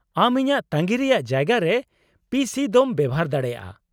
ᱟᱢ ᱤᱧᱟᱹᱜ ᱛᱟᱺᱜᱤ ᱨᱮᱭᱟᱜ ᱡᱟᱭᱜᱟ ᱨᱮ ᱯᱤᱹ ᱥᱤᱹ ᱫᱚᱢ ᱵᱮᱣᱦᱟᱨ ᱫᱟᱲᱮᱭᱟᱜᱼᱟ ᱾